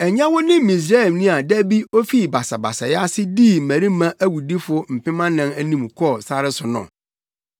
Ɛnyɛ wo ne Misraimni a da bi ofii basabasayɛ ase dii mmarima awudifo mpem anan anim kɔɔ sare so no?”